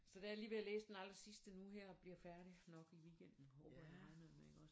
Så da jeg lige ved at læse den allersidste nu her og bliver færdig nok i weekenden håber jeg og regner med ikke også